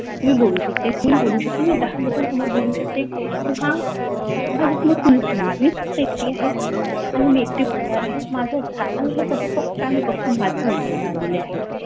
मी बोलू शकते मी बोलू शकते मी दहा लोकांसमोर बोलू शकते किंवा माझ्यासमोर कोणच नाहीये मी फक्त एकटी आहे आणि मी एकटी बोलणार आहे, आणि माझा हे फक्त आणि माझ ऐकायला आले आहे!